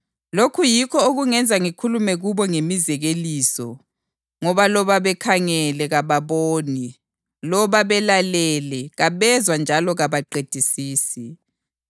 Lokhu yikho okungenza ngikhulume kubo ngemizekeliso: Ngoba loba bekhangele kababoni; loba belalele kabezwa njalo kabaqedisisi.